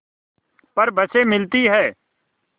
पर बसें मिलती हैं